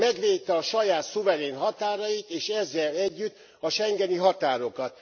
Megvédte a saját szuverén határait és ezzel együtt a schengeni határokat.